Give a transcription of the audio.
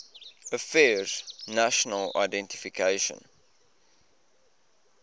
affairs national identification